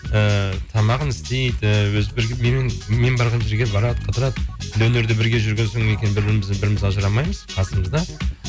ііі тамағын істейді мен барған жерге барады қыдырады енді өнерде бірге жүрген соң бір бірімізден біріміз ажырамаймыз қасымызда